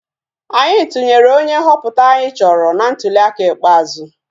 Anyị tụnyere onye nhọpụta anyị chọrọ na ntuliaka ikpeazụ